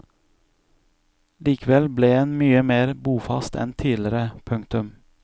Likevel ble en mye mer bofast enn tidligere. punktum